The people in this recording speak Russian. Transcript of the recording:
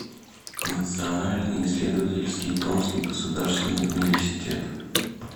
национальный исследовательский томский государственный университет